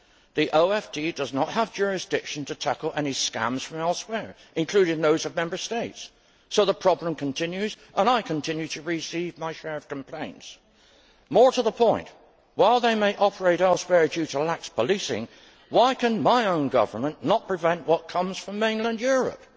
The OFT does not have jurisdiction to tackle any scams from elsewhere, including from other Member States, so the problem continues and I continue to receive my share of complaints. More to the point, while they may operate elsewhere due to lax policing, why can my own government not prevent what comes from mainland Europe?